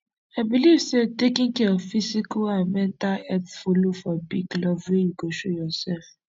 i believe say taking care of physical and mental health follow for big love wey you go show yourself